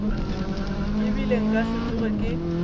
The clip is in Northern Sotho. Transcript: ebile nka se tsoge ke